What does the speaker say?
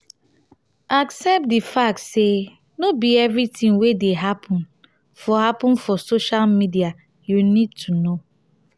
accept di fact sey no be everything wey dey happen for happen for social media you need to know.